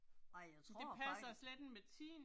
Ej jeg tror